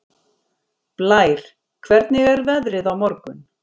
Blær, hvernig er veðrið á morgun?